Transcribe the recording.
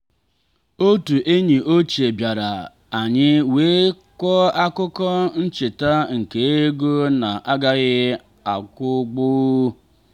otu enyi ochie bịara anyị wee kọọ akụkọ ncheta nke ego na-agaghị akwụgbu.